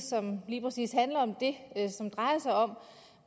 som lige præcis handler om det og som drejer sig om